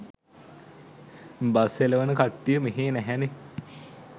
bus එළවන කට්ටිය මෙහෙ නැහැනෙ